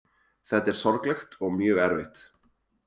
Þetta er sorglegt og mjög erfitt